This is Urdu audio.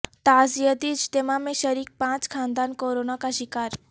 تعزیتی اجتماع میں شریک پانچ خاندان کورونا کا شکار